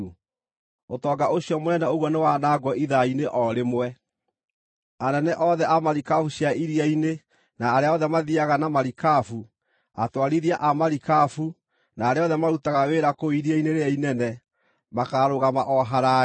Ũtonga ũcio mũnene ũguo nĩwanangwo ithaa-inĩ o rĩmwe!’ “Anene othe a marikabu cia iria-inĩ, na arĩa othe mathiiaga na marikabu, atwarithia a marikabu, na arĩa othe marutaga wĩra kũu iria-inĩ rĩrĩa inene, makaarũgama o haraaya.